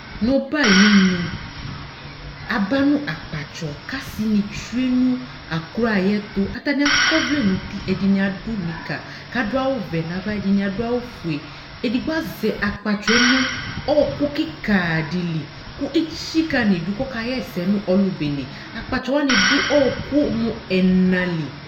N'ɔbɛaynu, aba nʋ akpatsɔ , k'asɩ nɩ tsue nʋ aklo ayɛtʋ, Atanɩ akɔvlɛ n'uti, ɛdɩnɩadʋ nika, kadʋ awʋvɛ n'ava ɛdɩnɩ adʋ awʋfue Edigbo azɛ akpatsɔǝ nʋ ɔɔkʋ kɩkaa dɩ li kʋ etsikǝ n'idu kɔka ɣɛsɛ nʋ ɔlʋ bene; akpatsɔ wanɩ dʋ ɔɔkʋ mʋ ɛna li